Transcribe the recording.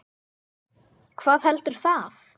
Hvað heldur það?